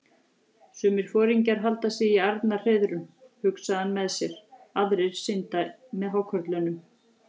Sumir foringjar halda sig í arnarhreiðrum, hugsaði hann með sér, aðrir synda með hákörlunum.